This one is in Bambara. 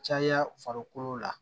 Caya farikolo la